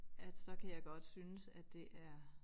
At så kan jeg godt synes det er